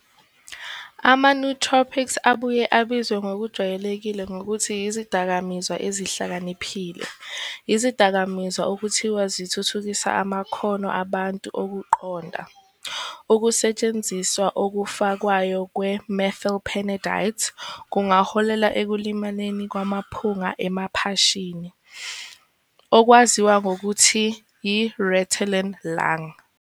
AmaNootropics, abuye abizwe ngokujwayelekile ngokuthi "izidakamizwa ezihlakaniphile", yizidakamizwa okuthiwa zithuthukisa amakhono abantu okuqonda. Ukusetshenziswa okufakwayo kwe-methylphenidate kungaholela ekulimaleni kwemiphunga emaphashini, okwaziwa ngokuthi "yiRitalin lung."